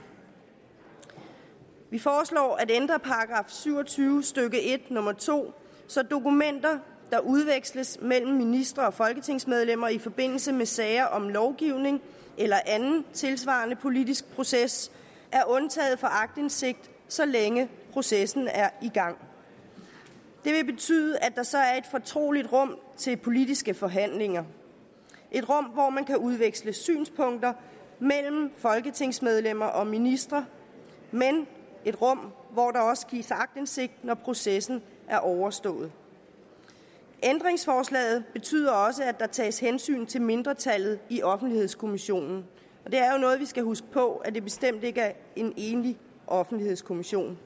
vi foreslår at ændre § syv og tyve stykke en nummer to så dokumenter der udveksles mellem ministre og folketingsmedlemmer i forbindelse med sager om lovgivning eller anden tilsvarende politisk proces er undtaget fra aktindsigt så længe processen er i gang det vil betyde at der så er et fortroligt rum til politiske forhandlinger et rum hvor man kan udveksle synspunkter mellem folketingsmedlemmer og ministre men et rum hvor der også gives aktindsigt når processen er overstået ændringsforslaget betyder også at der tages hensyn til mindretallet i offentlighedskommissionen og noget vi skal huske på nemlig at det bestemt ikke er en enig offentlighedskommission